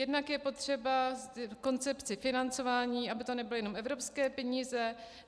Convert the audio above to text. Jednak je potřeba koncepci financování, aby to nebyly jenom evropské peníze.